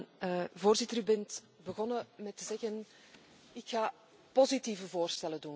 Voorzitter, u bent begonnen met te zeggen Ik ga positieve voorstellen doen.